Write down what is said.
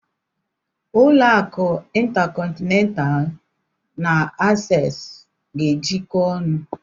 Ụlọ akụ Intacọntinentalụ na Asees ga-ejiko ọnụ.